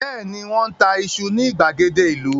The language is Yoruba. Bẹ́ẹ̀ni, Wọ́n ń ta iṣu ní ìgbàgede ìlú